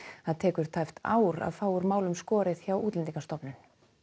það tekur tæpt ár að fá úr málum skorið hjá Útlendingastofnun